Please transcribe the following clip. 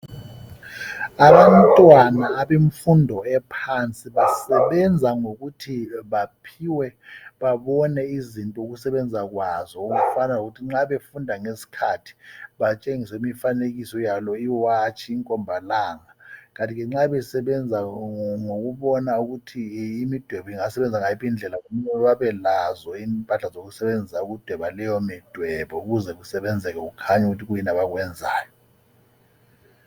Abantwana àbemfundo ephansi, basebenza ngokuthi baphiwe babone izinto ukusebenza kwazo. Okufana lokuthi nxa befunda ngesikhathi, batshengiswe imfanekiso yalo iwatshi, inkomba langa. Kanti ke nxa besebenza ngokubona ukuthi imidwebo ingasebenza ngayiphi indlela. Kumele babelazo impahla okusebenzisa ukudweba leyo midwebo. Ukuze kusebenzeke kukhanye ukuthi kuyini abakwenzayo.